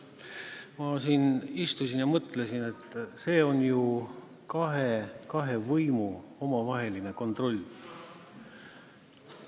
Ma siin istusin ja mõtlesin, et siin on ju asi kahe võimu omavahelises kontrollis.